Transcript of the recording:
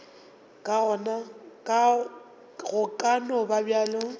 go ka no ba bjalo